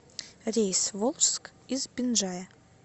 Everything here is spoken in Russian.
рейс в волжск из бинджая